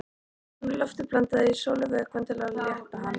Stundum er lofti blandað í skolvökvann til að létta hann.